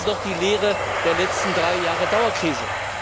Das ist doch die Lehre der letzten drei Jahre Dauerkrise.